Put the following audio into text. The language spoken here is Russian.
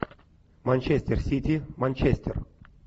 манчестер сити манчестер